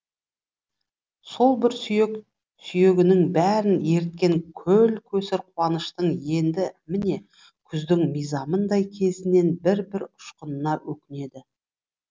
сол бір сүйек сүйегінің бәрін еріткен көл көсір қуаныштың енді міне күздің мизамындай кезінен бір бір ұшқанына өкінеді